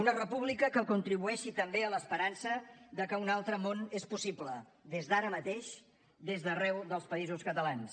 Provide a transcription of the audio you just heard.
una república que contribueixi també a l’esperança de que un altre món és possible des d’ara mateix des d’arreu dels països catalans